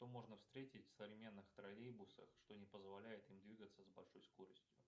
что можно встретить в современных троллейбусах что не позволяет им двигаться с большой скоростью